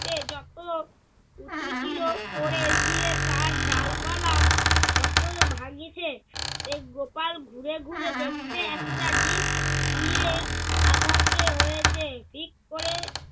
আছে যত উঁচু ছিল সেই দিয়ে তার ডালপালা তত ভাঙ্গিছে। এই গোপাল ঘুরে ঘুরে দেখতে একটা দিক ধুয়ে আধা কি হয়েছে। ঠিক করে